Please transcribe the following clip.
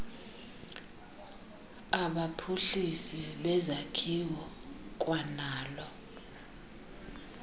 abaphuhlisi bezakhiwo kwanalo